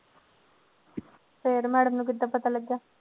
ਫਿਰ madam ਨੂੰ ਕਿੱਦਾਂ ਪਤਾ ਲੱਗਿਆ।